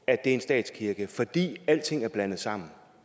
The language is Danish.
at det er en statskirke fordi alting er blandet sammen